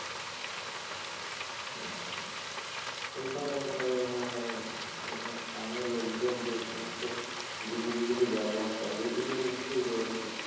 আচ্ছা। উইখানে মানে ওখানে স্থানীয় লোকজন যে সমস্ত জিনিসগুল ব্যবহার করে ঐগুলো নিশ্ছই রয়েছে।